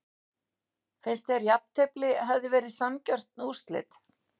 Finnst að jafntefli hefði verið sanngjörn úrslit?